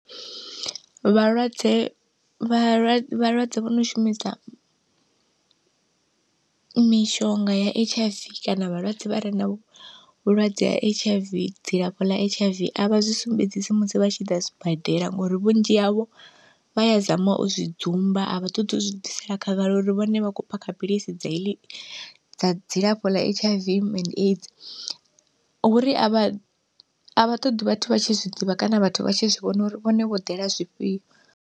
Vhalwadze vhalwa vhalwadze vho no shumisa mishonga ya H_I_V kana vhalwadze vha re na vhulwadze ha H_I_V, dzilafho ḽa H_I_V avha zwi sumbedzisa musi vha tshi ḓa sibadela ngori vhunzhi havho vha ya zama u zwi dzumba a vha ṱoḓi u zwi ḓisela khagala uri vhone vha khou phakha philisi dza heḽi dza dzilafho ḽa H_I_V and AIDS. Huri a vha a vha ṱoḓi vhathu vha tshi zwi ḓivha kana vhathu vha tshi zwi vhona uri vhone vho ḓela zwifhio.